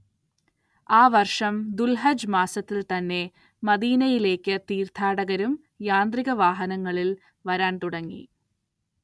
ആ വർഷം ദുൽഹജ്ജ് മാസത്തിൽ തന്നെ മദീനയിലേക്ക് തീർത്ഥാടകരും യാന്ത്രിക വാഹനങ്ങളിൽ വരാൻ തുടങ്ങി.